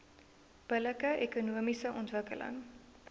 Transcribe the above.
billike ekonomiese ontwikkeling